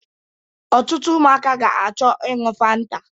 Otụtụ ụmụaka ga-acho iñyu fanta